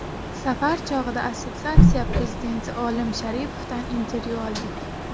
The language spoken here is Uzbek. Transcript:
Safar chog‘ida assotsiatsiya prezidenti Olim Sharipovdan intervyu oldik.